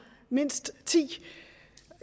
mindst ti